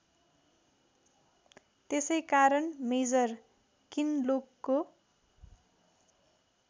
त्यसैकारण मेजर किनलोकको